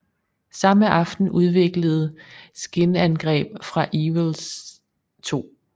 Samme aften udviklede skinangreb fra Ewells 2